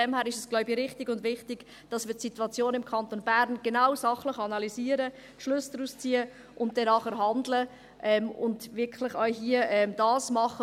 Daher ist es, denke ich, richtig und wichtig, dass wir die Situation im Kanton Bern genau, sachlich analysieren, Schlüsse daraus ziehen und dann danach handeln und das hier wirklich auch machen.